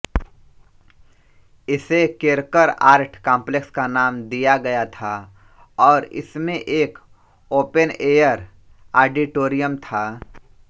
इसे Kerkar art complex का नाम दिया गया था और इसमें एक ओपनएयर ऑडिटोरियम था